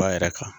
Ba yɛrɛ kan